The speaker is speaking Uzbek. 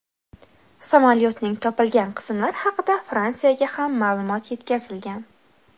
Samolyotning topilgan qismlari haqida Fransiyaga ham ma’lumot yetkazilgan.